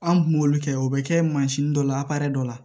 An kun b'olu kɛ o bɛ kɛ mansin dɔ la dɔ la